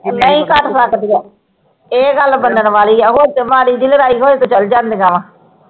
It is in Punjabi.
ਨਹੀਂ ਕਟ ਸਕਦੀਆਂ ਇਹ ਗੱਲ ਮਨਨ ਵਾਲੀ ਆ ਹੁਣ ਤੇ ਮਾੜੀ ਜੀ ਲੜਾਈ ਹੋਵੇ ਤਾ ਚਲ ਜਾਂਦੀਆਂ